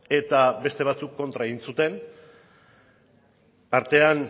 eta beste batzuek kontra egin zuten artean